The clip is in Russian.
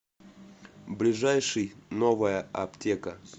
ближайший новая аптека